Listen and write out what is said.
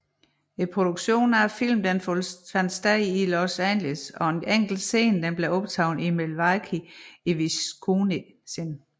Produktionen af filmen fandt sted i Los Angeles og en enkelt scene blev optaget i Milwaukee i Wisconsin